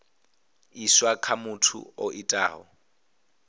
iswa kha muthu o itaho